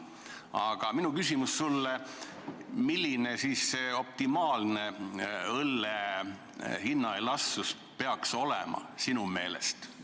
Aga minu küsimus sulle on: milline sinu meelest peaks olema optimaalne õlle hinna elastsus?